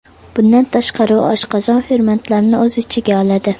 Bundan tashqari, u oshqozon fermentlarini o‘z ichiga oladi.